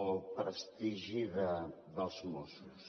el prestigi dels mossos